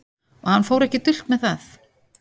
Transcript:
Og hann fór ekki dult með það.